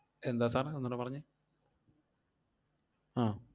എന്താ sir ഒന്നൂടെ പറഞ്ഞേ ആഹ്